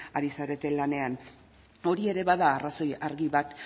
ari zarete lanean hori ere bada arrazoi argi bat